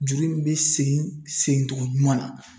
Juru in be segin segin togo ɲuman na